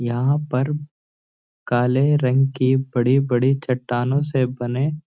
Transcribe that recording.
यहाँ पर काले रंग की बड़ी-बड़ी चट्टानों से बने --